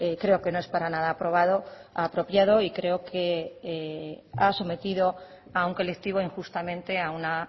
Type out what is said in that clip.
creo que no es para nada apropiado y creo que ha sometido a un colectivo injustamente a una